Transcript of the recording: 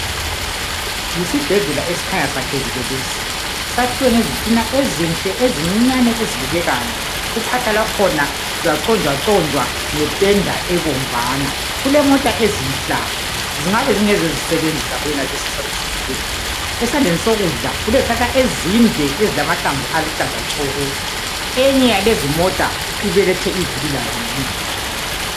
Yisibhedlela esikhanya sakhekile lesi sakhiwe ngezitina ezinhle ezincinyane ezibukekayo uphahla lwakhona lwaconjwaconjwa ngependa ebomvana kulemota ezinhlanu zingabe zingezezisebenzi zakuyonaleso sibhedlela esandleni sokudla kulezihlahla ezinde ezilamahlamvu aluhlaza tshoko eyinye yezimota ibelethe ivili layo emuva.